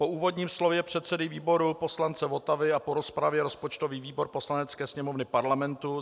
Po úvodním slově předsedy výboru poslance Votavy a po rozpravě rozpočtový výbor Poslanecké sněmovny Parlamentu